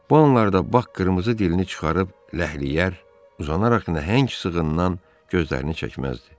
Bu anlarda Bak qırmızı dilini çıxarıb ləhləyər, uzanaraq nəhəng sığından gözlərini çəkməzdi.